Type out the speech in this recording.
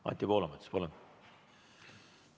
Anti Poolamets, palun!